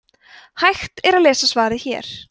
hægt er að lesa svarið hér